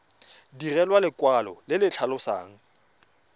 direlwa lekwalo le le tlhalosang